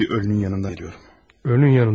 İndi bir ölünün yanından gəlirəm.